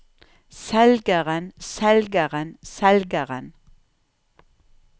selgeren selgeren selgeren